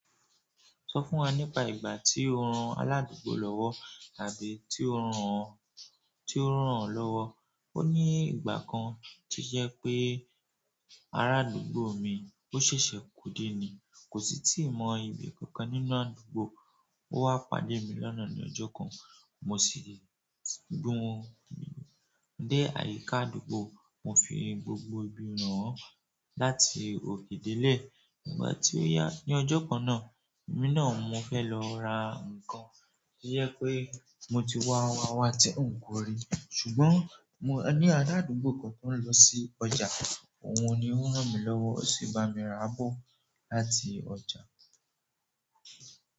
Sọ fún wa nípa ìgbà tí o rán aládùúgbò lọ́wọ́ tàbí tí ó rán ọ, tí ó rán ọ lọ́wọ́. O ni ìgbà kan ti o je pe araadugbo mi o sese ko de ni, ko si ti mo ibi kankan nínú àdúgbò. O wa pàdé mi lọ́nà ni ojo kan mo gbewon dé àyíká àdúgbò. Mo fi gbogbo ibi ràán láti òkè dé ilé. Ìgbà tí ó yá, ní ọjọ́ kan náà, èmi náà mo fẹ́ lọ ra nǹkan tí jé pé mo ti wá wá wá ti un ko rí. Ṣùgbọ́n mo ní ará àdúgbò kan tó ń lọ sí ọjà, òun ni ó rán mi lọ́wọ́, ó sì bá mi ra bọ́ láti ọjà.